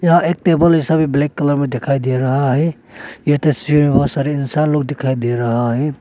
यह एक टेबल जैसा भी ब्लैक कलर में दिखाई दे रहा है ये तस्वीर बहोत सारे इंसान लोग दिखाई दे रहा है।